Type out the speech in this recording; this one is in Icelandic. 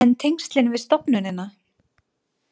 En tengslin við stofnunina?